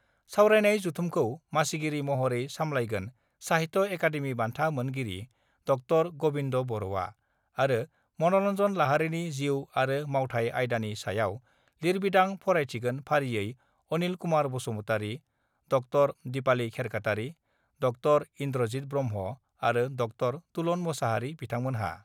सावरायनाय जथुमखौ मासिगिरि महरै सामलायगोन साहित्य एकाडेमि बान्था मोनगिरि ड' गबिन्द बर'आ आरो मनरन्जन लाहारिनि जिउ आरो मावथाय आयदानि सायाव लिरबिंदां फरायथिगोन फारियै - अनिल कुमार बसुमतारि, डº दिपाली खेरखातारि, ड° इन्द्रजित ब्रह्म' आरो ड' तुलन मोसाहारि बिथांमोनहा।